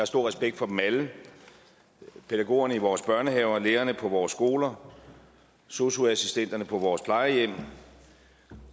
stor respekt for dem alle pædagogerne i vores børnehaver lærerne på vores skoler sosu assistenterne på vores plejehjem